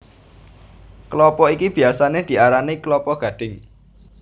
Klapa iki biyasané diarani klapa gadhing